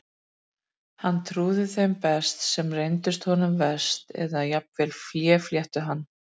Hann trúði þeim best sem reyndust honum verst, eða jafnvel féflettu hann.